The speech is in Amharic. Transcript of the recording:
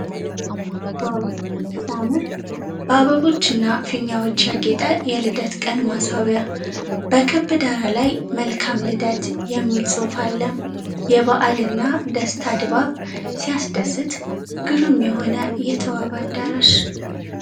ዋው ሲያምር ! በአበቦች እና ፊኛዎች ያጌጠ የልደት ቀን ማስዋቢያ ። በክብ ዳራ ላይ " መልካም ልደት " የሚል ጽሑፍ አለ። የበዓልና ደስታ ድባብ ! ሲያስደስት ! ግሩም የሆነ የተዋበ አዳራሽ !!